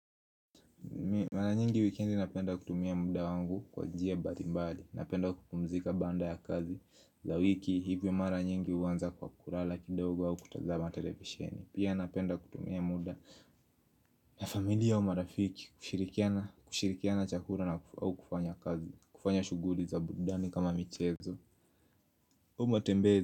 Mara nyingi wikendi napenda kutumia muda wangu kwa njia mbali mbali. Napenda kupumzika baada ya kazi. Za wiki hivyo mara nyingi huanza kwa kulala kidogo au kutazama televisieni. Pia napenda kutumia muda na familia wa marafiki kushirikiana chakula au kufanya kazi. Kufanya shughuli za burudani kama michezo.